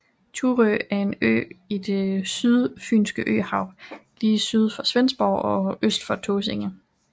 Thurø er en ø i det Sydfynske Øhav lige syd for Svendborg og øst for Tåsinge